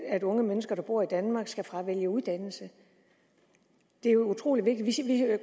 at unge mennesker der bor i danmark skal fravælge uddannelse det er jo utrolig vigtigt og